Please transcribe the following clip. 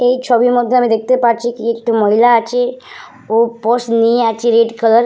এই ছবির মধ্যে আমি দেখতে পারছি কি একটি মহিলা আছে ও পর্স নিয়ে আছে রেড কালার --